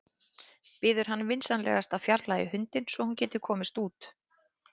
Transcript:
Biður hann vinsamlegast að fjarlægja hundinn svo að hún geti komist út.